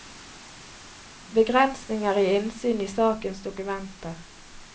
Begrensninger i innsyn i sakens dokumenter.